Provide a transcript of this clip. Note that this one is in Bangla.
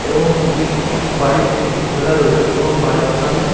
এবং গেট -টি বাড়ির গেট -টি খোলা রয়েছে | এবং বাড়ির সামনে --